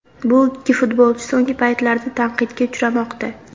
Bu ikki futbolchi so‘nggi paytlarda tanqidga uchramoqda.